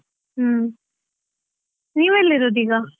ಹೂಂ. ನೀವೆಲ್ಲಿರೋದ್ ಈಗ?